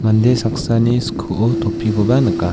mande saksani skoo topikoba nika.